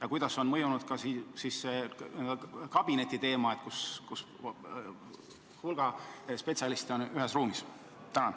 Ja kuidas on mõjunud ka see n-ö kabinettide lahendus, mille puhul hulk spetsialiste on ühes ruumis?